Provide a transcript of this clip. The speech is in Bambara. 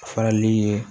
Farali ye